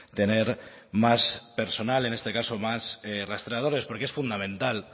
tener más personal en este caso más rastreadores porque es fundamental